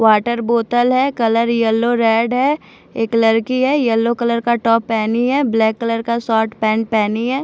Water बोतल है colour yellow red है एक लड़की है यलो कलर का टॉप पहनी है ब्लैक कलर का शोर्ट पैन्ट पहनी है।